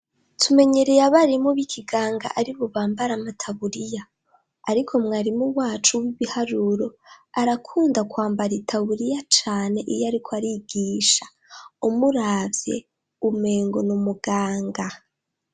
Tumenyereye abarimu boikiganga ari bubambara amataburiya, ariko mwarimu wacu w'ibiharuro arakunda kwambara i taburiya cane iyo, ariko arigisha umuravye umengo n'umuganga.